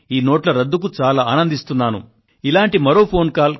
మీరు ఈ 500 1000 రూపాయల నోట్లను రద్దు చేసినందుకు నేను నిజంగా చాలా ఆనందిస్తున్నాను